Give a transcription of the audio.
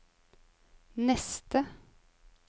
neste